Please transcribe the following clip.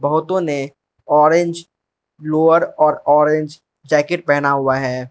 बहुतों ने orange lower और ऑरेंज जैकेट पहेना हुआ है।